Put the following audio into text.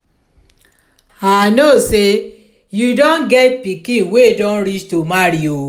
i no know say you don get pikin wey don reach to marry oo